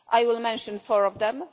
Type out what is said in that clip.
I will mention four of them.